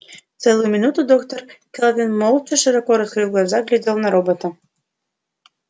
целую минуту доктор кэлвин молча широко раскрыв глаза глядела на робота